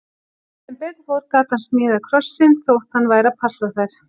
Sem betur fór gat hann smíðað krossinn, þótt hann væri að passa þær.